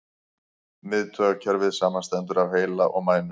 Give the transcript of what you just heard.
Miðtaugakerfið samanstendur af heila og mænu.